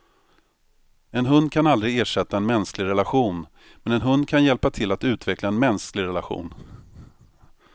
En hund kan aldrig ersätta en mänsklig relation, men en hund kan hjälpa till att utveckla en mänsklig relation.